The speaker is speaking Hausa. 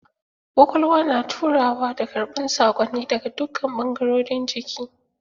Ƙwaƙwalwa na turawa da karɓar sakonni daga dukkan bangarorin jiki.